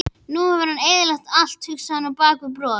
Nú hefur hann eyðilagt allt, hugsaði hann bak við brosið.